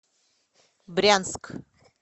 брянск